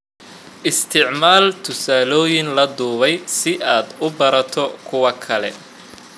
Isticmaal tusaalooyin la duubay si aad u barato kuwa kale.